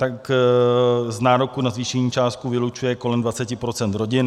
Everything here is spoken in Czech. Tak z nároku na zvýšení částky vylučuje kolem 20 % rodin.